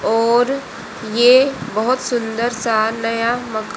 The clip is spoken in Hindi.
और यह बहुत सुंदर सा नया मका--